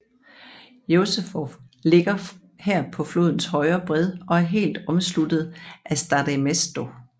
Josefov ligger her på flodens højre bred og er helt omsluttet af Staré Město